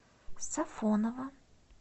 сафоново